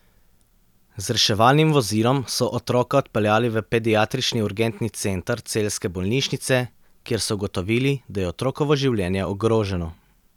Z reševalnim vozilom so otroka odpeljali v pediatrični urgentni center celjske bolnišnice, kjer so ugotovili, da je otrokovo življenje ogroženo.